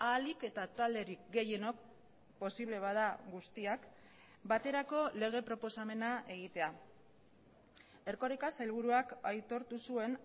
ahalik eta talderik gehienok posible bada guztiak baterako lege proposamena egitea erkoreka sailburuak aitortu zuen